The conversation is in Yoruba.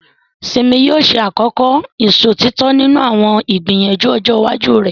Simi yóò ṣe àkọ́kọ́ ìṣòtítọ́ nínú àwọn ìgbìyànjú ọjọ́ iwájú rẹ̀.